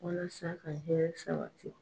Walasa ka hɛrɛw sabati